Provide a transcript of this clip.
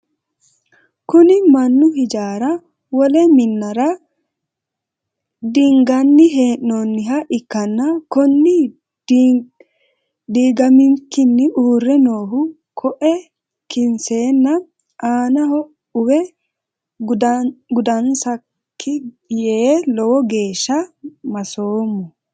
Kunni Manu hijaara wole minnara diinganni hee'noonniha ikanna kunni diigamikinni uure noohu koe kinseenna aannaho uwe gudansaka yee lowo geesha masoomo.